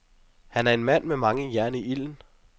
Han er en mand med mange jern i ilden.